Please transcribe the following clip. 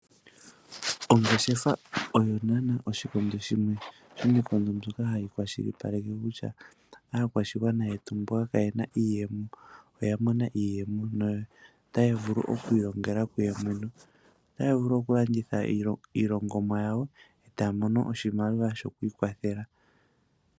Ongeshefa oyo unene yoshikondo shimwe shomiinkondo mbyoka hayi kwashilipaleke kutya aakwashigwana yetu mboka kaaye na iiyemo oya mona iiyemo notaya vulu oku ilongela kuyo yene. Otaya vulu oku landitha iinima yawo, etaya mono oshimaliwa shokwiikwathela.